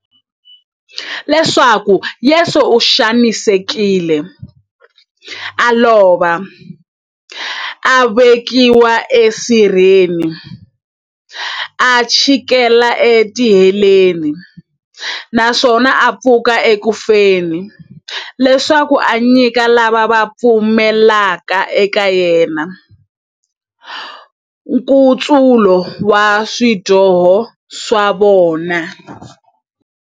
Leswaku Yesu u xanisekile, a lova, a vekiwa e sirheni, a chikela e tiheleni, naswona a pfuka eku feni, leswaku a nyika lava va pfumelaka eka yena, nkutsulo wa swidyoho swa vona.